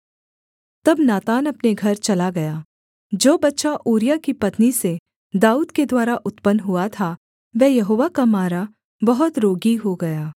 तब नातान अपने घर चला गया जो बच्चा ऊरिय्याह की पत्नी से दाऊद के द्वारा उत्पन्न हुआ था वह यहोवा का मारा बहुत रोगी हो गया